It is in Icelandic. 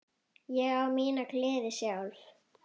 Ég á mína gleði sjálf.